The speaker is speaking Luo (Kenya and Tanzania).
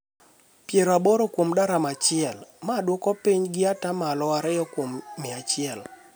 pier aboro kuom daram achiel, ma dwoko piny gi ata malo ariyo kuom mia achiel.